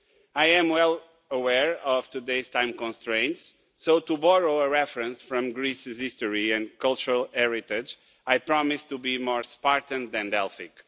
I am well aware of today's time constraints, so to borrow a reference from Greece's history and cultural heritage, I promise to be more Spartan than Delphic.